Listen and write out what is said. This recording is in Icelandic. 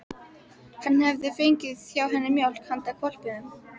Hann hefði fengið hjá henni mjólk handa hvolpinum.